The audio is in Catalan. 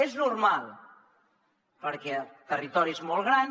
és normal perquè el territori és molt gran